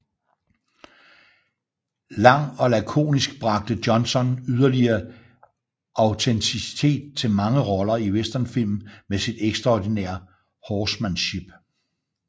Lang og lakonisk bragte Johnson yderligere autenticitet til mange roller i Westernfilm med sit ekstraordinære horsemanship